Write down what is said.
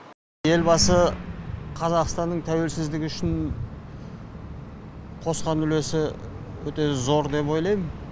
елбасы қазақстанның тәуелсіздігі үшін қосқан үлесі өте зор деп ойлайм